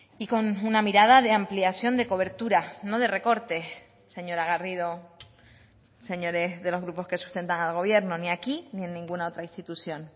y con una mirada de ampliación de cobertura no de recortes señora garrido señores de los grupos que sustentan al gobierno ni aquí ni en ninguna otra institución